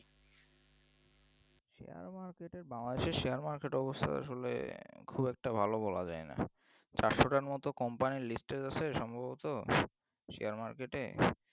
Share market এ Bangladesh এর Share market সেটা অবশ্যই আসলে খুব একটা ভালো বলা যায় না চারশো টার মতো company listed আছে সম্ভবত Share market এ